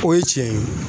O ye tiɲɛ ye